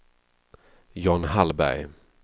John Hallberg